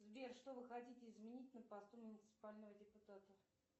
сбер что вы хотите изменить на посту муниципального депутата